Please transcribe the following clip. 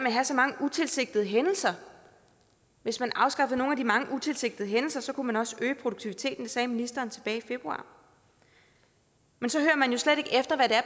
at have så mange utilsigtede hændelser hvis man afskaffede nogle af de mange utilsigtede hændelser kunne man også øge produktiviteten det sagde ministeren tilbage i februar men så